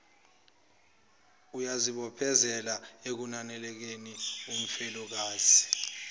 uyazibophezela ekunakekeleni umfelokazi